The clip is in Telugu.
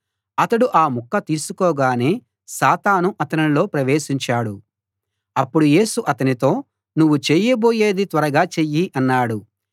అతడు ఆ ముక్క తీసుకోగానే సాతాను అతనిలో ప్రవేశించాడు అప్పుడు యేసు అతనితో నువ్వు చెయ్యబోయేది త్వరగా చెయ్యి అన్నాడు